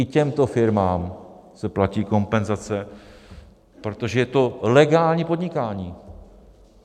I těmto firmám se platí kompenzace, protože je to legální podnikání.